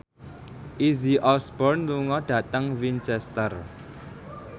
Izzy Osborne lunga dhateng Winchester